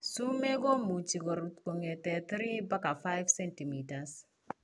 Sumeek komuche korut kongeten 3 baka 5 cm